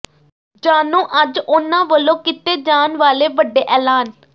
ਜਾਣੋ ਅੱਜ ਉਨ੍ਹਾਂ ਵਲੋਂ ਕੀਤੇ ਜਾਣ ਵਾਲੇ ਵੱਡੇ ਐਲਾਨ